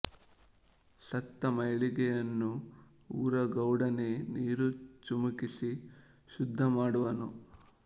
ಸತ್ತ ಮೈಲಿಗೆಯನ್ನು ಊರ ಗೌಡನೇ ನೀರು ಚಿಮುಕಿಸಿ ಶುದ್ಧಿ ಮಾಡುವನು